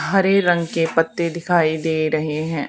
हरे रंग के पत्ते दिखाई दे रहे हैं।